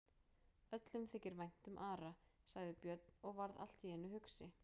Öllum þykir vænt um Ara, sagði Björn og varð allt í einu hugsi.